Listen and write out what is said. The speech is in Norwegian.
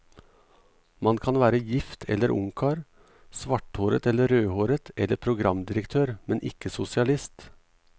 Man kan være gift eller ungkar, svarthåret eller rødhåret eller programdirektør, men ikke sosialist.